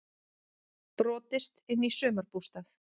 Brotist inn í sumarbústað